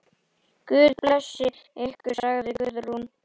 Guð blessi ykkur, sagði Guðrún.